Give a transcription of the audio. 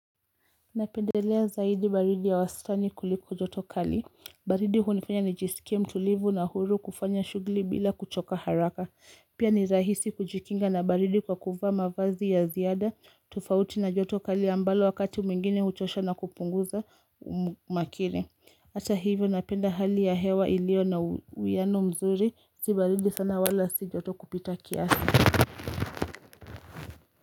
Napendelea zaidi baridi ya wastani kuliko joto kali. Baridi hunifanya nijisikie mtulivu na huru kufanya shughuli bila kuchoka haraka. Pia ni rahisi kujikinga na baridi kwa kuvaa mavazi ya ziada tofauti na joto kali ambalo wakati mwingine uchosha na kupunguza makire. Hata hivyo napenda hali ya hewa ilio na uiiano mzuri. Zi baridi sana wala si joto kupita kiasi.